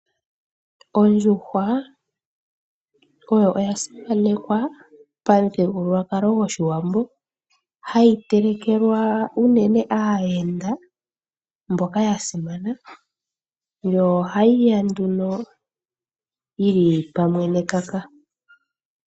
Ondjuhwa oyo oya simanekwa pamuthigululwakalo gwoshiwambo, hayi telekelwa unene aayenda mboka ya simana yo ohayi ya nduno yili pamwe nekaka